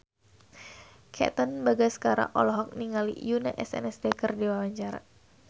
Katon Bagaskara olohok ningali Yoona SNSD keur diwawancara